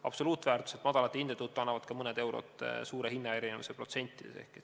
Absoluutväärtuselt madalate hindade tõttu annavad ka mõned eurod protsentides suure hinnaerinevuse.